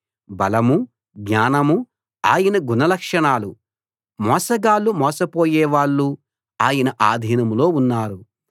బలమూ జ్ఞానమూ ఆయన గుణ లక్షణాలు మోసగాళ్ళు మోసపోయే వాళ్ళు ఆయన ఆధీనంలో ఉన్నారు